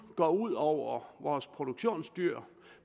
ud over vores produktionsdyr